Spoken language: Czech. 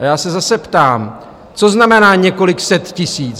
A já se zase ptám, co znamená, několik set tisíc.